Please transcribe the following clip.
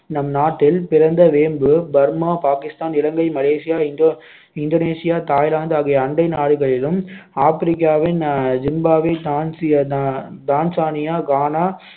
நம்நாட்டில் பிறந்த வேம்பு பர்மா, பாகிஸ்தான், இலங்கை, மலேசியா, இந்தோ~ இந்தோனேசியா, தாய்லாந்து ஆகிய அண்டை நாடுகளிலும், ஆப்பிரிக்காவின் ஆஹ் ஜிம்பாப்வே, தான்சி~ தான்சானியா, கானா,